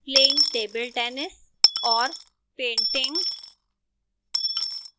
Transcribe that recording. playing table tennis और painting